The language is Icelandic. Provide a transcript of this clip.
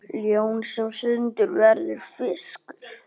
Ljón sem stundum verður fiskur.